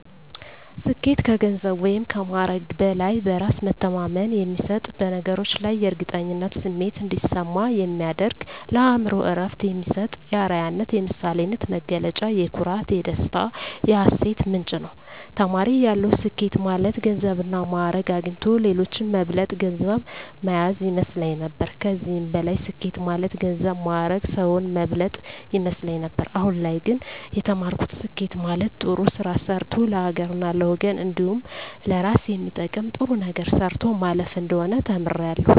ስኬት ከገንዘብ ወይም ከማዕረግ በላይ በእራስ መተማመን የሚሰጥ በነገሮች ላይ የእርግጠኝነት ስሜት እንዲሰማ የሚያደርግ ለአእምሮ እረፍት የሚሰጥ የአረያነት የምሳሌነት መገለጫ የኩራት የደስታ የሀሴት ምንጭ ነዉ። ተማሪ እያለሁ ስኬት ማለት ገንዘብና ማእረግ አግኝቶ ሌሎችን መብለጥ ገንዘብ ማያዝ ይመስለኝ ነበር ከዚህም በላይ ስኬት ማለት ገንዘብ ማእረግ ሰዉን መብለጥ ይመስለኝ ነበር አሁን ላይ ግን የተማርኩት ስኬት ማለት ጥሩ ስራ ሰርቶ ለሀገርና ለወገን እንዲሁም ለእራስ የሚጠቅም ጥሩ ነገር ሰርቶ ማለፍ እንደሆነ ተምሬያለሁ።